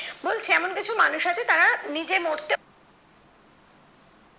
বলছে এমন কিছু মানুষ আছে তারা নিজে মরছে